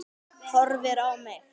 Horfir á mig.